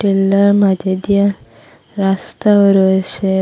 পিল্লার মাঝে দিয়া রাস্তাও রয়েসে ।